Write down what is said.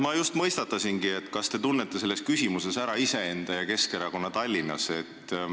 Ma just mõistatasingi, kas te tunnete küsimuses ära iseenda ja Keskerakonna Tallinnas.